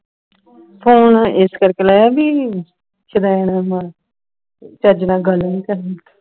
phone ਇਸ ਕਰਕੇ ਲਾਇਆ ਵੀ ਸ਼ੁਦੈਣ ਹੈ ਚੱਜ ਨਾਲ ਗੱਲ ਨਹੀਂ ਕਰਨੀ